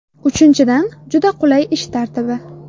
Uchinchidan, juda qulay ish tartibi.